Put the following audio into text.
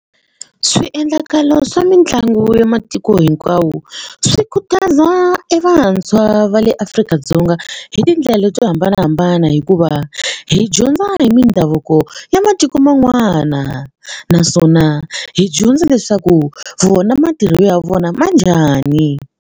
Swiendlakalo swa mitlangu ya matiko hinkwawo swi khutaza e vantshwa va le Afrika-Dzonga hi tindlela to hambanahambana hikuva hi dyondza hi mindhavuko ya matiko man'wana naswona hi dyondza leswaku vona matirhelo ya vona ma njhani.